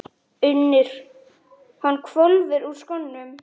UNNUR: Hann hvolfir úr skónum.